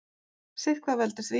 Sitthvað veldur því.